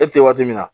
E tɛ waati min na